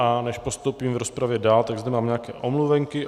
A než postoupíme v rozpravě dál, tak zde mám nějaké omluvenky.